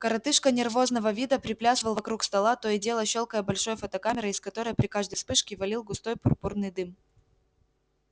коротышка нервозного вида приплясывал вокруг стола то и дело щёлкая большой фотокамерой из которой при каждой вспышке валил густой пурпурный дым